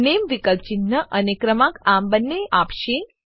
નામે વિકલ્પ ચિન્હ અને ક્રમાંક આમ બંને આપશે